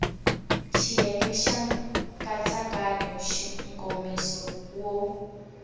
xiyenge xa nkatsakanyo nkomiso wo